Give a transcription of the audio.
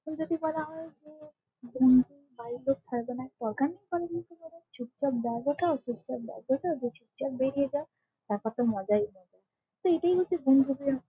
এখন যদি বলা হয় যে বন্ধুর বাড়ির লোক ছাড়বে না দরকার ই নেই বাড়ির লোক কে বলার চুপচাপ ব্যাগ ওঠাও চুপচাপ ব্যাগ গোচাও দিয়ে চুপচাপ বেরিয়ে যাও । তারপর তো মজাই মজা তো এটাই হচ্ছে বন্ধুদের --